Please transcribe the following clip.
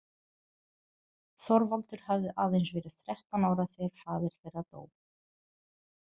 Þorvaldur hafði aðeins verið þrettán ára þegar faðir þeirra dó.